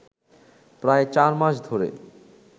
প্রায় চার মাস ধরে